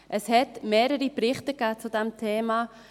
Es gab mehrere Berichte zu diesem Thema.